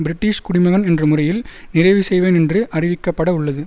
British குடிமகன் என்ற முறையில் நிறைவு செய்வேன் என்று அறிவிக்கப்பட உள்ளது